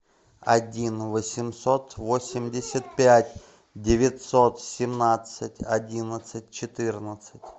один восемьсот восемьдесят пять девятьсот семнадцать одиннадцать четырнадцать